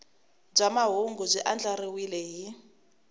bya mahungu byi andlariwile hi